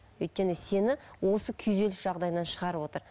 өйткені сені осы күйзеліс жағдайынан шығарып отыр